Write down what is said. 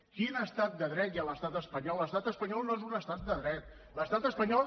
quin estat de dret hi ha a l’estat espanyol l’estat espanyol no és un estat de dret l’estat espanyol